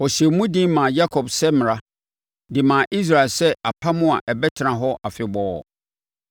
Ɔhyɛɛ mu den maa Yakob sɛ mmara, de maa Israel sɛ apam a ɛbɛtena hɔ afebɔɔ.